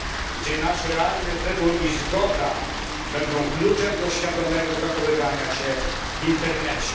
gdzie nasz realny wybór i zgoda będą kluczem do świadomego zachowywania się w internecie.